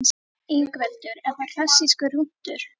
Ingveldur: Er það klassískur rúntur?